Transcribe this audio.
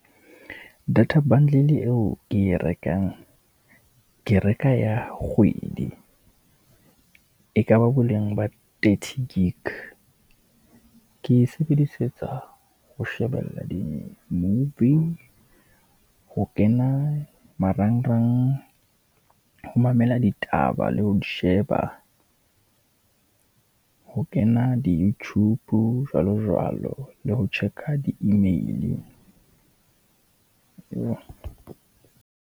Data bundle eo ke e rekang, ke reka ya kgwedi, e ka qba boleng ba thirty gig. Ke e sebedisetsa ho shebella di-movie, ho kena marangrang, ho mamela ditaba le ho di sheba, ho kena di-youtube jwalo jwalo, le ho check-a di-email.